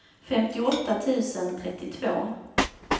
femtioåtta tusen trettiotvå